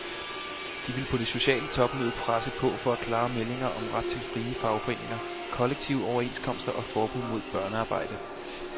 De vil på det sociale topmøde presse på for klare meldinger om ret til frie fagforeninger, kollektive overenskomster og forbud mod børnearbejde.